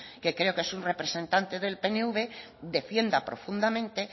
que creo que es un representante del pnv defienda profundamente